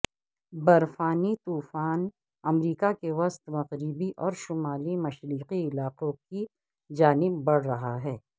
برفانی طوفان امریکہ کے وسط مغربی اور شمال مشرقی علاقوں کی جانب بڑھ رہا ہے